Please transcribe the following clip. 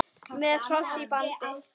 Með hross í bandi.